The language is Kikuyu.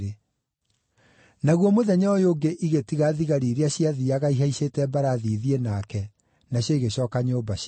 Naguo mũthenya ũyũ ũngĩ igĩtiga thigari iria ciathiiaga ihaicĩte mbarathi ithiĩ nake, nacio igĩcooka nyũmba ciao.